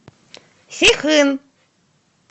сихын